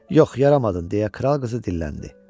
Yox, yaramadın deyə kral qızı dilləndi.